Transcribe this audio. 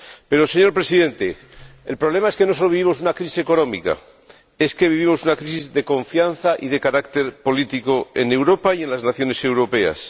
Pero, señor Presidente, el problema es que no sólo vivimos una crisis económica, es que vivimos una crisis de confianza y de carácter político en Europa y en las naciones europeas.